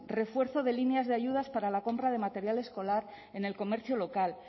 refuerzo de líneas de ayudas para la compra de material escolar en el comercio local